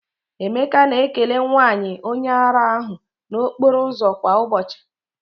Emeka na-ekele nwanyị onye ara ahụ n'okporo ụzọ kwa ụbọchị.